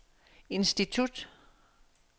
institut